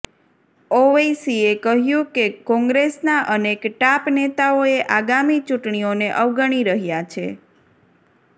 ઓવૈસીએ કહ્યુ કે કોંગ્રેસના અનેક ટાપ નેતાઓએ આગામી ચૂંટણીઓને અવગણી રહ્યા છે